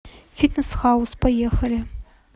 фитнес хаус поехали